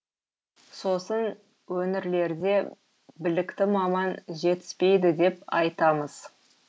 сосын өңірлерде білікті маман жетіспейді деп айтамыз